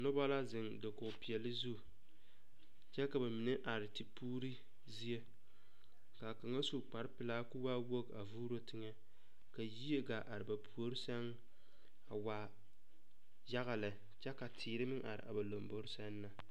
Noba la zeŋ dakogepeɛlle zu kyɛ ka ba mine are tepuuri zie ka kaŋa su kparepelaa ka o waa wogi a vuuro teŋɛ ka yie gaa are ba puori sɛŋ a waa yaga lɛ kyɛ ka teere meŋ are a ba lombore sɛŋ na.